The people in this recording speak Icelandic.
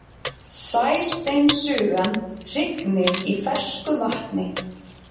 Sæsteinsugan hrygnir í fersku vatni.